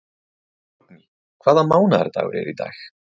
Borgný, hvaða mánaðardagur er í dag?